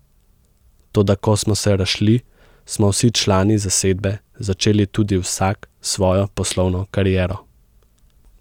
Toda ko smo se razšli, smo vsi člani zasedbe začeli tudi vsak svojo poslovno kariero.